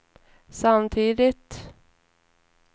samtidigt